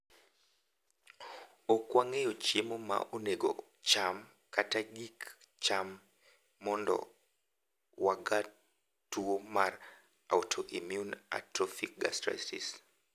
Okwang`eyo chiemo maonego cham kata kik cham mondo waga two mar autoimmune atrophic gastritis.